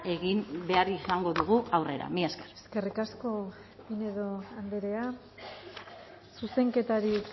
egin behar izango dugu aurrera mila esker eskerrik asko pinedo andrea zuzenketarik